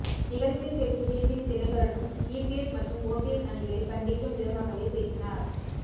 நிகழ்ச்சியில் பேசிய டிடிவி தினகரனும் ஈபிஎஸ் மற்றும் ஓபிஎஸ் அணிகளை கண்டிக்கும் விதமாகவே பேசினார்